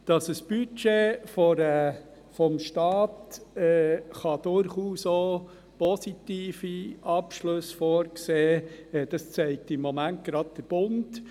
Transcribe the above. Dass ein Budget eines Staates durchaus auch positive Abschlüsse vorsehen kann, das zeigt im Moment gerade der Bund.